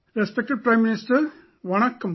Respected Prime Minister, Vanakkam